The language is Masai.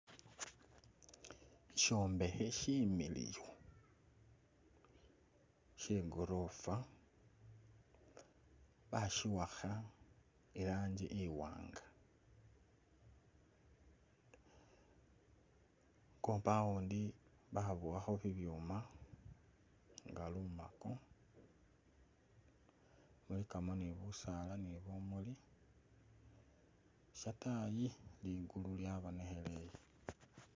I'shombekhe shimiliyu shegolofa bashiwakha irangi i'waanga, compound babowakho bibyuma nga lumako lulikamo ni busaala ni bumuli shatayi ligulu lyabonekheleye